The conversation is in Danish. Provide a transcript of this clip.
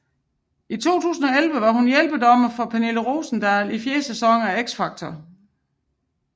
I 2011 var hun hjælpedommer for Pernille Rosendahl i fjerde sæson af X Factor